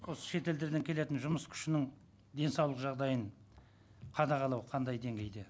осы шетелдерден келетін жұмыс күшінің денсаулық жағдайын қадағалау қандай деңгейде